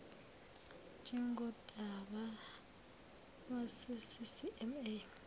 njengodaba lwase ccma